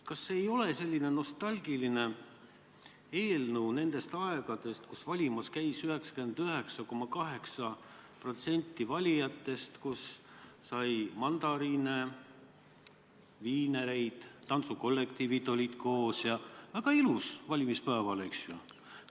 Kas see ei ole mitte selline nostalgiline eelnõu nendest aegadest, kui valimas käis 99,8% valijatest, jagati mandariine ja viinereid ning koos olid tantsukollektiivid – väga ilus valimispäev?